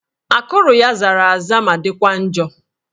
Akụrụ ya zara aza ma dịkwa njọ